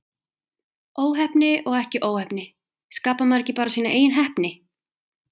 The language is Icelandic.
Óheppni og ekki óheppni, skapar maður ekki bara sína eigin heppni?